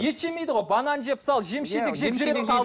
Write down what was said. ет жемейді ғой банан жеп мысалы жеміс жидек